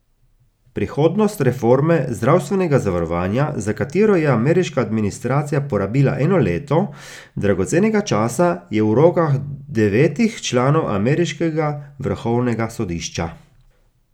Prihodnost reforme zdravstvenega zavarovanja, za katero je ameriška administracija porabila eno leto dragocenega časa, je v rokah devetih članov ameriškega vrhovnega sodišča.